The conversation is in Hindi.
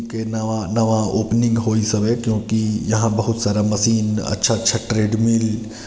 के नवा नवा ओपनिंग होईस हवे क्योंकि यहाँ बहुत सारा मशीन अच्छा अच्छा ट्रेडमील --]